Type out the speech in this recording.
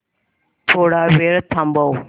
थोडा वेळ थांबव